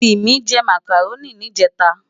Timi jè Mákáróni nijètá